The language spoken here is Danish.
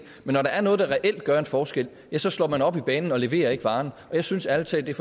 men når der er noget der reelt gør en forskel så slår man op i banen og leverer ikke varen jeg synes ærlig talt det